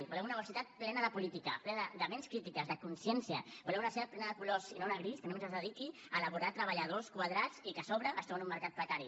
volem una universitat plena de política plena de ments crítiques de consciència volem una universitat plena de colors i no una gris que només es dediqui a elaborar treballadors quadrats i que a sobre es troben amb un mercat precari